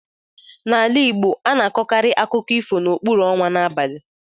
N'ala Igbo, a na-akọkarị akụkọ ifo n'okpuru ọnwa n'abalị.